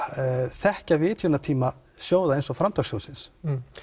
þekkja vitjunartíma sjóða eins og framtakssjóðsins